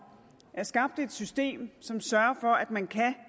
er skabt et system som sørger for at man kan